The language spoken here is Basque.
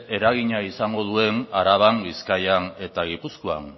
eragina izango duen araban bizkaian eta gipuzkoan